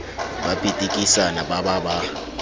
ba pitikisana ba ba ba